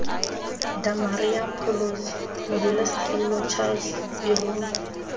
damaria pholosi modulasetulo charles irumba